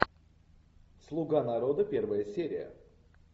слуга народа первая серия